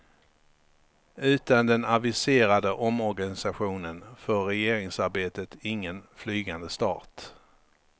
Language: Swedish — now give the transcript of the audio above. Utan den aviserade omorganisationen får regeringsarbetet ingen flygande start.